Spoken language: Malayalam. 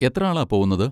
എത്ര ആളാ പോവുന്നത്?